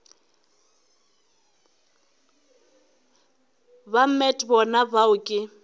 ba met bona bao ke